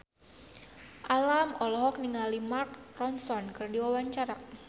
Alam olohok ningali Mark Ronson keur diwawancara